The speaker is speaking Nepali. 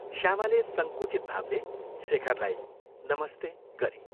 श्यामाले संकुचित भावले शेखरलाई ' नमस्ते ' गरी।